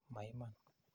Ma iman.